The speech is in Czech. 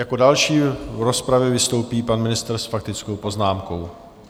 Jako další v rozpravě vystoupí pan ministr s faktickou poznámkou.